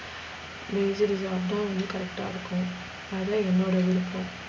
correct இருக்கும்.